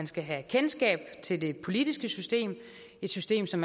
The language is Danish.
skal have kendskab til det politiske system et system som